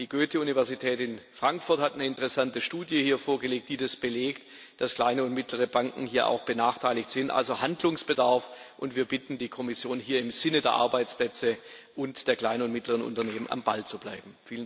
Die Goethe Universität in Frankfurt hat eine interessante Studie vorgelegt, die belegt, dass kleine und mittlere Banken hier auch benachteiligt sind. Es besteht also Handlungsbedarf, und wir bitten die Kommission, hier im Sinne der Arbeitsplätze und der kleinen und mittleren Unternehmen am Ball zu bleiben.